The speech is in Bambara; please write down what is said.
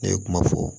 Ne ye kuma fɔ